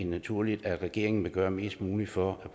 naturligt at regeringen vil gøre mest muligt for at